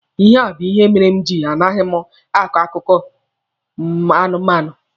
Ihe a bụ ihe mere m ji a naghị m a akọ akụkọ anụmanụ.